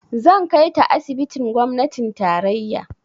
Zan kai ta asibitin gwamnatin tarayya.